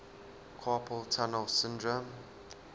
carpal tunnel syndrome